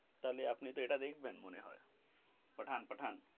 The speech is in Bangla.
তাহলে আপনি এইটা দেখবেন মনে হয় পাঠান পাঠান.